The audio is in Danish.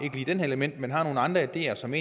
element man har nogle andre ideer som